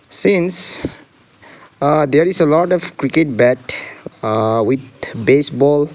since uh there is a lot of cricket bat uh with baseball.